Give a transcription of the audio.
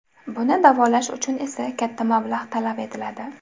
Buni da’volash uchun esa katta mablag‘ talab etiladi.